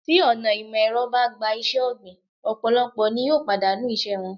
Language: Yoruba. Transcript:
Tí ọ̀nà ìmò èrọ bá gba iṣé ọ̀gbìn, ọ̀pọ̀lọpọ̀ ni yóò pàdánù ìṣe wọn.